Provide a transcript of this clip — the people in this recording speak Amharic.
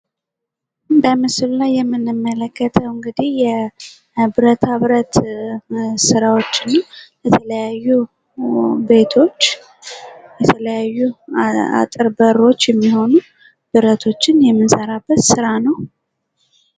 በምስሉ ላይ የምንመለከተው እንግዲህ የብረታብረት መስሪያዎችን የተለያዩ ቤቶች የተለያዩ አጥር በሮች የምንሰራበት ስራ ነው።